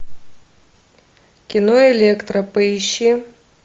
кино электра поищи